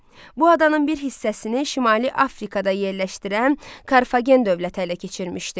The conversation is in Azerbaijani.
Bu adanın bir hissəsini Şimali Afrikada yerləşdirən Karfagen dövləti ələ keçirmişdi.